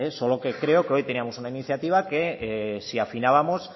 es solo que creo que hoy teníamos una iniciativa que si afinábamos